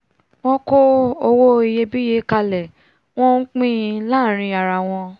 wọn kó owó iyebíye kalẹ̀ wọ́n npín-in láàrin arawọn